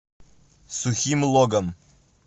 сухим логом